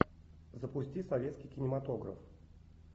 запусти советский кинематограф